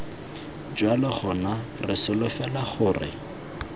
jalo gona re solofela gore